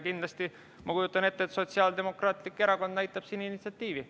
Kindlasti ma kujutan ette, et Sotsiaaldemokraatlik Erakond näitab siin initsiatiivi.